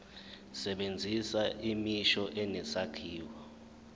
sebenzisa imisho enesakhiwo